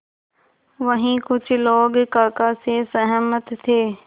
वहीं कुछ लोग काका से सहमत थे